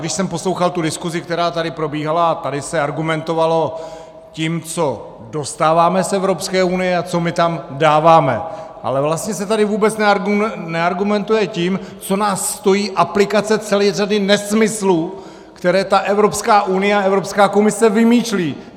Když jsem poslouchal, tu diskuzi, která tady probíhala, a tady se argumentovalo tím, co dostáváme z Evropské unie a co my tam dáváme, ale vlastně se tady vůbec neargumentuje tím, co nás stojí aplikace celé řady nesmyslů, které ta Evropská unie a Evropská komise vymýšlí.